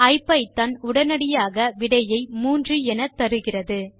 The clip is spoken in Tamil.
ஐபிதான் உடனடியாக விடையை 3 என தருகிறது